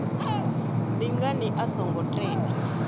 ndi ngani a songo tea